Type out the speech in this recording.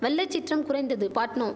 வெள்ள சீற்றம் குறைந்தது பாட்னோ